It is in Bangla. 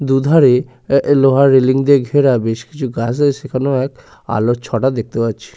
দুধারে এ আ লোহার রেলিং দিয়ে ঘেরা বেশ কিছু গাছ আছে সেখানে এক আলোর ছটা দেখতে পাচ্ছি।